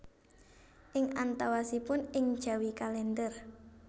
Ing antawasipun Ing Jawi kalender